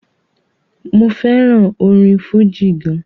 mo fẹràn orin fújì gan.